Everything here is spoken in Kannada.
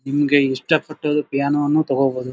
ನಿಮಗೆ ಇಷ್ಟ ಪಟ್ಟಿದ್ದು ಏನನು ತಕೋಬಹುದು.